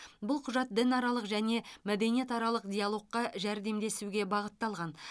бұл құжат дінаралық және мәдениетаралық диалогқа жәрдемдесуге бағытталған